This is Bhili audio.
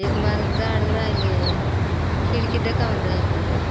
एक माणूस झाडू रायले खिड़की देखाउन रायली --